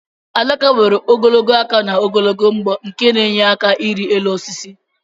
Adaka nwere ogologo aka na ogologo mbọ nke na enyere aka irị elu osisi